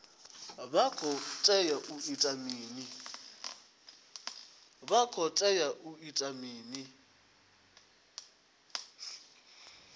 vha khou tea u ita mini